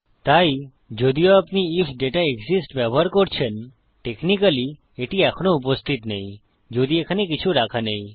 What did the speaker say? তাই যদিও আপনি আইএফ দাতা এক্সিস্টস ব্যবহার করছেন টেকনিক্যালি এটি এখনও উপস্থিত নেই যদি এখানে কিছু রাখা নেই